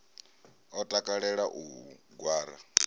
a takalela u u gwara